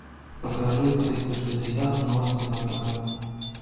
покажи триста шестьдесят новости на тв